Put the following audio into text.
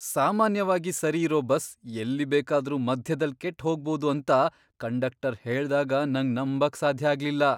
ಸಾಮಾನ್ಯವಾಗಿ ಸರಿ ಇರೋ ಬಸ್ ಎಲ್ಲಿ ಬೇಕಾದ್ರು ಮಧ್ಯದಲ್ ಕೆಟ್ಟ್ ಹೋಗ್ಬೋದು ಅಂತ ಕಂಡಕ್ಟರ್ ಹೇಳ್ದಾಗ ನಂಗ್ ನಂಬಕ್ ಸಾಧ್ಯ ಆಗ್ಲಿಲ್ಲ!